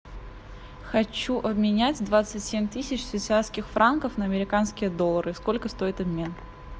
хочу обменять двадцать семь тысяч швейцарских франков на американские доллары сколько стоит обмен